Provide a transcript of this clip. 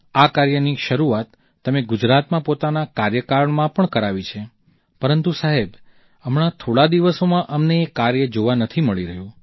આ કાર્યની શરૂઆત તમે ગુજરાતમાં પોતાના કાર્યકાળમાં પણ કરાવી છે પરંતુ સાહેબ હમણાં થોડાં દિવસોમાં અમને એ કાર્ય જોવા નથી મળી રહ્યું